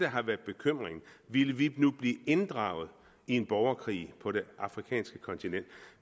har været bekymringen ville vi nu blive inddraget i en borgerkrig på det afrikanske kontinent